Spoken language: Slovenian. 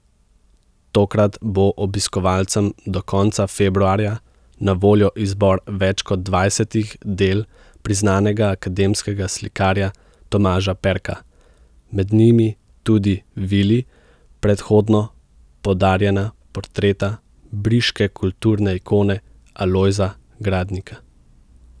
Tokrat bo obiskovalcem do konca februarja na voljo izbor več kot dvajsetih del priznanega akademskega slikarja Tomaža Perka, med njimi tudi vili predhodno podarjena portreta briške kulturne ikone Alojza Gradnika.